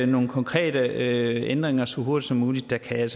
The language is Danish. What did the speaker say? nogle konkrete ændringer så hurtigt som muligt kan